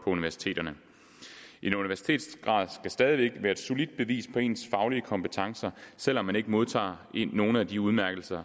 universiteterne en universitetsgrad skal stadig væk være et solidt bevis på ens faglige kompetencer selv om man ikke modtager nogen af de udmærkelser